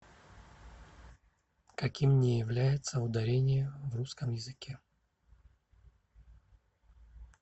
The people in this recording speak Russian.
каким не является ударение в русском языке